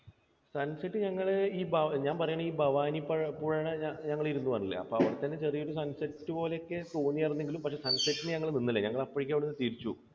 sunset ഞങ്ങൾ, ഞാൻ പറയുകയാണ് ഈ ഭവാനി പഴപുഴയുടെ ഞങ്ങൾ ഇരുന്നു എന്ന് പറഞ്ഞില്ലേ? അപ്പോൾ അവിടെ തന്നെ ചെറിയൊരു sunset റ്റ് പോലെയൊക്കെ തോന്നിയിരുന്നെങ്കിലും പക്ഷേ sunset ന് ഞങ്ങൾ നിന്നില്ല. ഞങ്ങൾ അപ്പോഴേക്കും അവിടെ നിന്നു തിരിച്ചു.